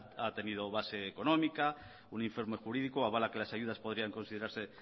ha tenido base económica un informe jurídico avala que las ayudas podrían considerarse